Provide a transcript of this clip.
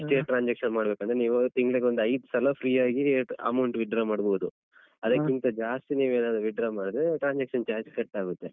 ಇಷ್ಟೇ transaction ಮಾಡ್ಬೇಕು ಅಂದ್ರೆ ನೀವು ತಿಂಗ್ಳಿಗೊಂದ್‌ ಐದ್ ಸಲ free ಆಗಿ amount withdraw ಮಾಡ್ಬೋದು ಅದಕ್ಕಿಂತ ಜಾಸ್ತಿ ನೀವೇನಾದ್ರು withdraw ಮಾಡಿದ್ರೆ transaction charge ಕಟ್ಟಾಗುತ್ತೆ.